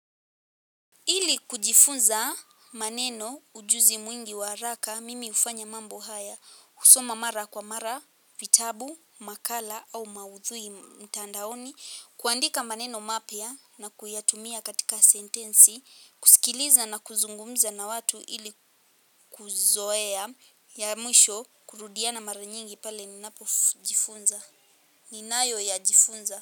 Ili kujifunza maneno ujuzi mwingi wa haraka, mimi hufanya mambo haya, kusoma mara kwa mara, vitabu, makala au maudhui mtandaoni, kuandika maneno mapya na kuyatumia katika sentensi, kusikiliza na kuzungumza na watu ili kuzoea ya mwisho kurudia na mara nyingi pale ninapojifunza. Ninayo ya jifunza.